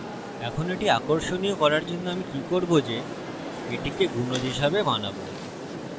এখন এটি আকর্ষণীয় করার জন্য আমি কি করবো যে এটিকে গুনজ multiple হিসাবে বানাবো